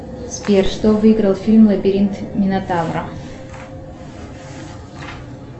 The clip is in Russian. сбер что выиграл фильм лабиринт минотавра